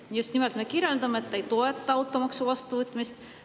Me just nimelt me selgitame, et ei toeta automaksu vastuvõtmist.